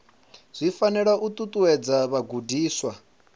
zwi fanela u ṱuṱuwedza vhagudiswa